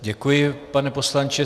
Děkuji, pane poslanče.